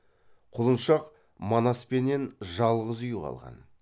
құлыншақ манаспенен жалғыз үй қалған